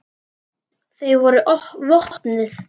Þau voru vopnuð.